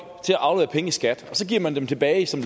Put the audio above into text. til at aflevere penge i skat og så giver man dem tilbage som